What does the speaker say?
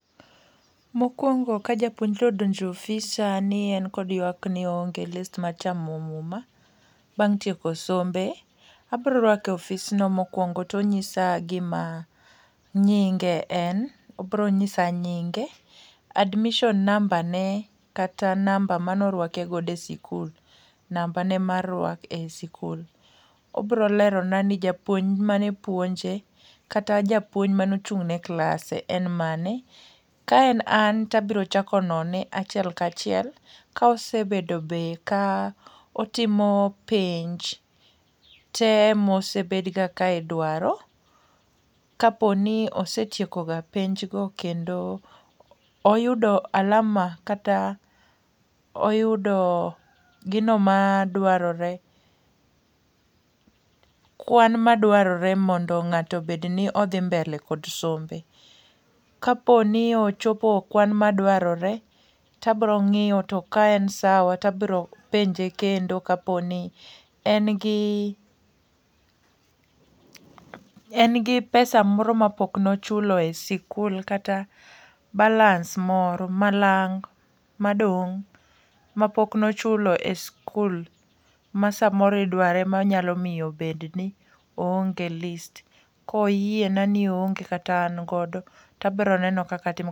Mokuongo ka japuonjre odonjo e ofisa ni en kod ywak ni oonge list mae chamo muma bang' tieko sombe, abiro rwake e ofis no mokuongo to onyisa gi ma nyinge en, obiro nyisa nyinge, admision namba ne kata nambe ne mane orwake godo e skul namba ne mar rwak e skul. Obiro lero na ni japuonj mane puonje kata japuonj mane ochung ne klase en mane, ka en an to abiro chako lero ka achiel ka achiel ka osebedo be ka otimo penj te ma osebed ga ka idwaro ka po ni osetieko ga penj go kata oyudo alama kata gino ma dwarore kwan ma dwarore mondo ng'ato bed ni dhi mbele kod sombe. Ka po ni ochopo kwan ma dwarore to abiro ng'iyo to ka en sawa to abiro penje kendo ka po ni en gi en gi pesa moro ma pok ne ochulo e skul kata balance moro ma lang' ma dong ma pok ne ochulo e skul ma sa moro idwaro ema nyalo miyo oonge bed ni oonge list ka oyie na kata bed ni an godo to abiro neno kaka atimo.